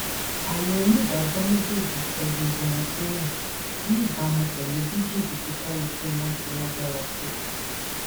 àwọn onídàájọ méjèèjì sọ gbogbo wọn sẹwọn ní ìbámu pẹlú bí jìbìtì kálukú wọn ṣe lágbára tó